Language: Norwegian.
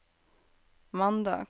mandag